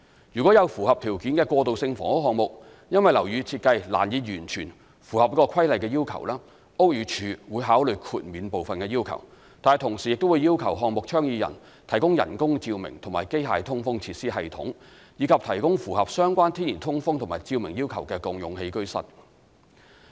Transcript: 若有符合條件的過渡性房屋項目，因樓宇設計難以完全符合《規例》的要求，屋宇署會考慮豁免部分的要求，但同時亦會要求項目倡議人提供人工照明及機械通風設施系統，以及提供符合相關天然通風及照明要求的共用起居室。